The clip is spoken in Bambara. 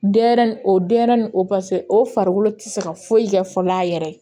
Denɲɛrɛnin o denyɛrɛnin o pase o farikolo tɛ se ka foyi kɛ fɔlɔ a yɛrɛ ye